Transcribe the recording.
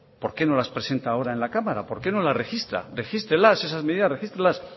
por qué no las presenta ahora en la cámara por qué no las registra regístrelas esas medidas regístrelas